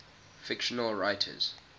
fictional writers